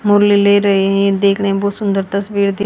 मुरली ले रहे हैं देखने में बहुत सुंदरता